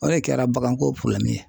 O de kɛra baganko ye.